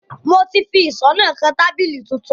Mo ti fi ìṣó náà kan tábìlì tuntun